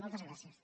moltes gràcies